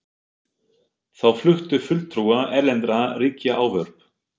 Þá fluttu fulltrúar erlendra ríkja ávörp.